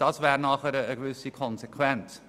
Das wäre dann eine Konsequenz.